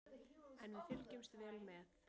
En við fylgjumst vel með